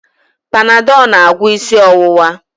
Panadọl na-agwọ isi ọwụwa